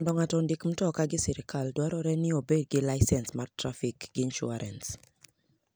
Mondo ng'ato ondik mtoka gi sirkal dwarore ni obed gi lisens mar trafik gi insuarans.